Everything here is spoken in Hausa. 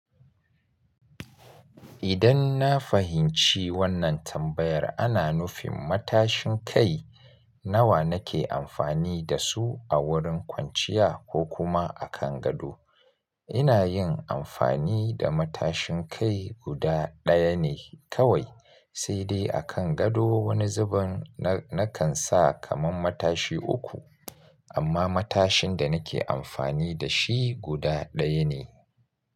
Idan na fahimci wannan tambayar ana nufin matashin kai nawa nake amfani da su a wurin kwanciya ko kuma a kan gado. Ina yin amfani da matashin kai guda ɗaya ne kawai, sai dai a kan gado wani zubin na kan sa kaman matashi uku amma matashin da nake amfani da shi guda ɗaya ne.